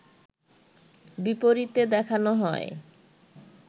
বিপরীতে দেখানো হয়